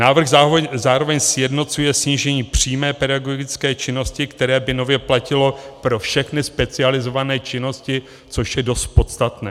Návrh zároveň sjednocuje snížení přímé pedagogické činnosti, které by nově platilo pro všechny specializované činnosti, což je dost podstatné.